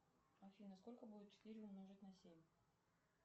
афина сколько будет четыре умножить на семь